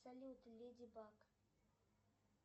салют леди баг